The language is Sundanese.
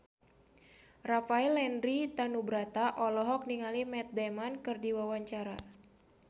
Rafael Landry Tanubrata olohok ningali Matt Damon keur diwawancara